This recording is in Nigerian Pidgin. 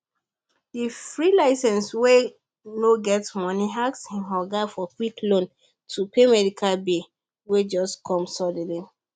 the freelancer wey no get money ask him oga for quick loan to pay medical bill wey just come suddenly